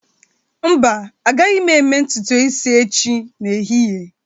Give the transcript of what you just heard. Mba, agaghị m eme ntutu isi echi n'ehihie